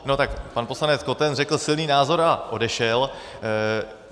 No tak pan poslanec Koten řekl silný názor a odešel.